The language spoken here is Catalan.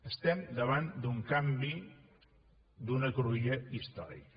estem davant d’un canvi d’una cruïlla històrica